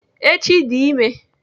Echi dị ime.